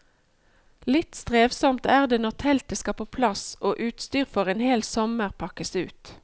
Litt strevsomt er det når teltet skal på plass og utstyr for en hel sommer pakkes ut.